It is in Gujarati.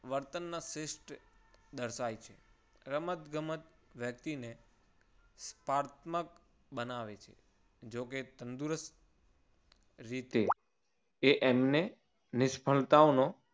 વર્તનના શ્રેષ્ઠ દર્શાય છે. રમતગમત વ્યક્તિને પાર્થ મક બનાવે છે. જોકે કે તંદુરસ્ત રીતે તે એમને નિષ્ફળતાઓનો